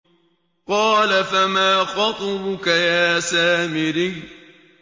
قَالَ فَمَا خَطْبُكَ يَا سَامِرِيُّ